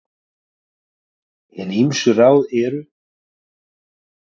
Hin ýmsu ráð eru